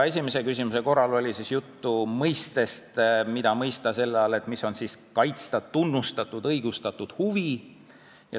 Esimeses küsimuses oli juttu sellest, mida mõista selle all, et on vaja kaitsta tunnustatud õigustatud huvi.